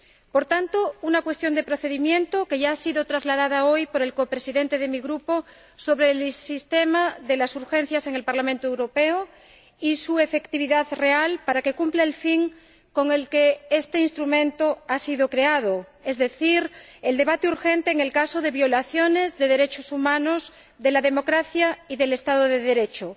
Por tanto, una cuestión de procedimiento, que ya ha sido trasladada hoy por el copresidente de mi Grupo, sobre el sistema de las urgencias en el Parlamento Europeo y su efectividad real para que cumpla el fin con el que este instrumento ha sido creado, es decir, el debate urgente en el caso de violaciones de derechos humanos, de la democracia y del Estado de Derecho.